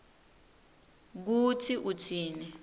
kutsi utsini